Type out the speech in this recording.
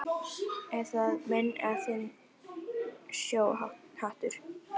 Er það minn eða þinn sjóhattur